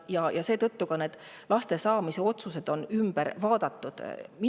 Seetõttu on ka laste saamist ümber.